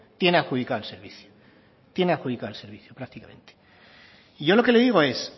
tiene adjudicado el servicio tiene adjudicado el servicio prácticamente y yo lo que le digo es